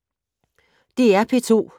DR P2